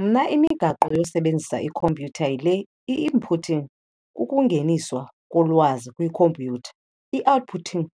Mna imigaqo yosebenza ikhompyutha, yile- i-inputting, kukungeniswa kolwazi kwikhompyutha, i-outputting,